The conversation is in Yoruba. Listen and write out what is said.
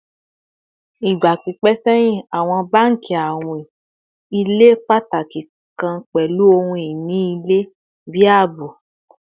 Igba pipẹ sẹhin awọn banki awin ile pataki kan pẹlu ohun-ini ilẹ bi aabo